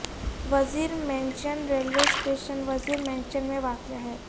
وزیر mansion railway station Wazir mansion میں واقع ہے